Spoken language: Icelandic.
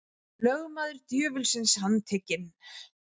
Lögmaður djöfulsins handtekinn